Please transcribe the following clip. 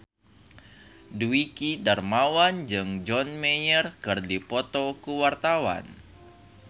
Dwiki Darmawan jeung John Mayer keur dipoto ku wartawan